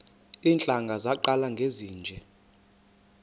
iintlanga zaqala ngezinje